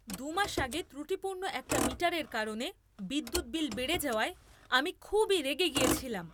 দু মাস আগে ত্রুটিপূর্ণ একটা মিটারের কারণে বিদ্যুৎ বিল বেড়ে যাওয়ায়, আমি খুবই রেগে গেছিলাম।